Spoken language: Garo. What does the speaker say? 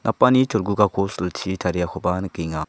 napani cholgugako silchi tariakoba nikenga.